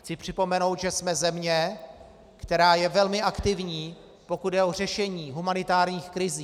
Chci připomenout, že jsme země, která je velmi aktivní, pokud jde o řešení humanitárních krizí.